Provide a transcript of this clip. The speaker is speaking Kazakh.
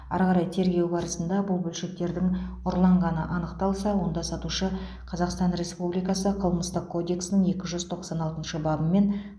ары қарай тергеу барысында бұл бөлшектердің ұрланғаны анықталса онда сатушы қазақстан республикасы қылмыстық кодексінің екі жүз тоқсан алтыншы бабымен